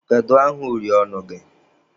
Kedu aha uri ọnụ gị?